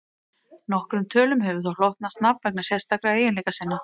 nokkrum tölum hefur þó hlotnast nafn vegna sérstakra eiginleika sinna